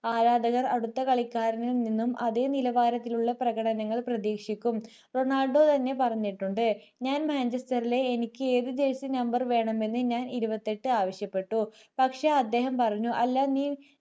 ആരാധകർ അടുത്ത കളിക്കാരനിൽ നിന്നും അതെ നിലവാരത്തിലുള്ള പ്രകടനങ്ങൾ പ്രതീക്ഷിക്കും റൊണാൾഡോ തന്നെ പറഞ്ഞിട്ടുണ്ട് ഞാൻ manchester ലെ എനിക്ക് ഏത് jersey number വേണമെന്ന് ഞാൻ ഇരുപത്തിയെട്ടു ആവശ്യപ്പെട്ടു പക്ഷെ അദ്ദേഹം പറഞ്ഞു അല്ല നീ